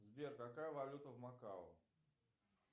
сбер какая валюта в макао